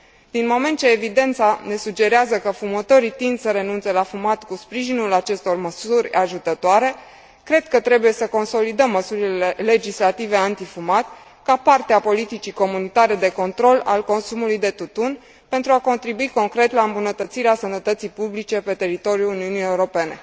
Din moment ce evidența ne sugerează că fumătorii tind să renunțe la fumat cu sprijinul acestor măsuri ajutătoare, cred că trebuie să consolidăm măsurile legislative antifumat ca parte a politicii comunitare de control al consumului de tutun, pentru a contribui concret la îmbunătățirea sănătății publice pe teritoriul Uniunii Europene.